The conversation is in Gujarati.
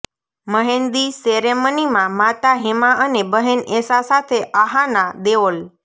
મહેંદી સેરેમનીમાં માતા હેમા અને બહેન એશા સાથે અહાના દેઓલ